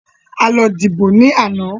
A lọ dìbò ní àná.